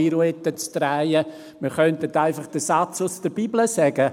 Wir könnten einfach den Satz aus der Bibel sagen: